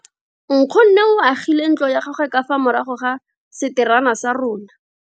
Nkgonne o agile ntlo ya gagwe ka fa morago ga seterata sa rona.